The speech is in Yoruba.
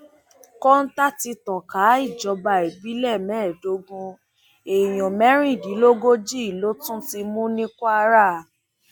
kọńtà ti tàn ká ìjọba ìbílẹ mẹẹẹdógún èèyàn mẹrìndínlógójì ló tún ti mú ní kwara